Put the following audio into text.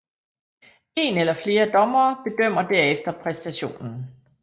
En eller flere dommere bedømmer derefter præstationen